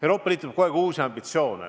Euroopa Liidul tekib kogu aeg uusi ambitsioone.